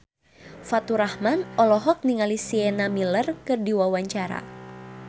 Faturrahman olohok ningali Sienna Miller keur diwawancara